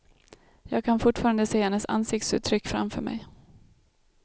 Jag kan fortfarande se hennes ansiktsuttryck framför mig.